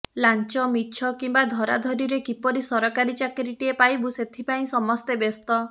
ଲାଞ୍ଚ ମିଛ କିମ୍ବା ଧରାଧରିରେ କିପରି ସରକାରୀ ଚାକିରିଟିଏ ପାଇବୁ ସେଥି ପାଇଁ ସମସ୍ତେ ବ୍ୟସ୍ତ